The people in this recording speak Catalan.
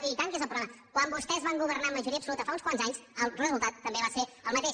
i tant que és el problema quan vostès van governar amb majoria absoluta fa uns quants anys el resultat també va ser el mateix